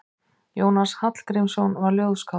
Jónas Hallgrímsson var ljóðskáld.